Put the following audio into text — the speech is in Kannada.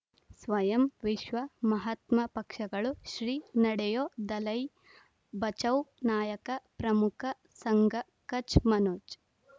ಸ್ವಯಂ ವಿಶ್ವ ಮಹಾತ್ಮ ಪಕ್ಷಗಳು ಶ್ರೀ ನಡೆಯೂ ದಲೈ ಬಚೌ ನಾಯಕ ಪ್ರಮುಖ ಸಂಘ ಕಚ್ ಮನೋಜ್